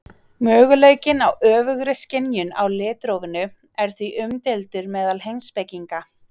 möguleikinn á öfugri skynjun á litrófinu er því umdeildur meðal heimspekinga